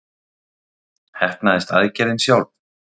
Heppnaðist aðgerðin sjálf?